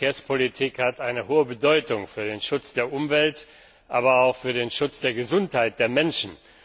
Die Verkehrspolitik hat große Bedeutung für den Schutz der Umwelt, aber auch für den Schutz der Gesundheit der Menschen.